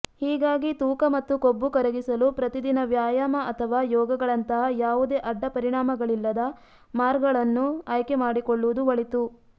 ಹೀಗಾಗಿ ತೂಕ ಮತ್ತು ಕೊಬ್ಬು ಕರಗಿಸಲು ಪ್ರತಿದಿನ ವ್ಯಾಯಾಮ ಅಥವಾ ಯೋಗಗಳಂತಹ ಯಾವುದೇ ಅಡ್ಡಪರಿಣಾಮಗಳಿಲ್ಲದ ಮಾರ್ಗಳನ್ನು ಆಯ್ಕೆ ಮಾಡಿಕೊಳ್ಳುವುದು ಒಳಿತು